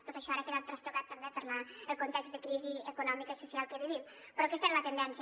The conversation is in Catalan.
tot això ara ha quedat trastocat també pel context de crisi econòmica i social que vivim però aquesta és la tendència